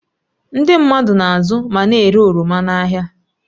Ndị mmadụ na-azụ ma na-ere oroma n'ahịa